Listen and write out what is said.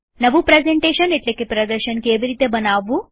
નવું પ્રેઝન્ટેશન એટલેકે પ્રદર્શન કેવી રીતે બનાવવું